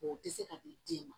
O bɛ se ka di den ma